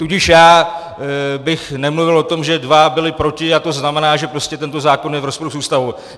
Tudíž já bych nemluvil o tom, že dva byli proti a to znamená, že prostě tento zákon je v rozporu s Ústavou.